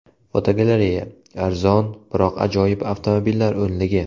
Fotogalereya: Arzon, biroq ajoyib avtomobillar o‘nligi.